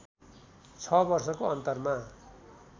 ६ वर्षको अन्तरमा